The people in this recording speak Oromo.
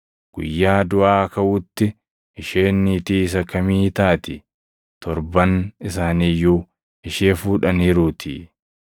Guyyaa duʼaa kaʼuutti isheen niitii isa kamii taati? Torban isaanii iyyuu ishee fuudhaniiruutii.”